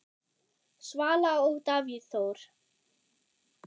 Svala og Davíð Þór.